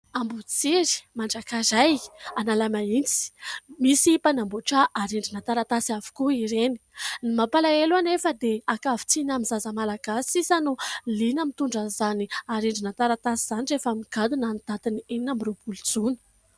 Amboditsiry, Manjakaray, Analamahitsy. Misy mpanamboatra arendrina taratasy avokoa ireny. Ny mampalahelo anefa dia ankavitsiana amin'ny zaza malagasy sisa no liana mitondra izany arendrina taratasy izany rehefa migadona ny datin'ny enina amby roapolo jona.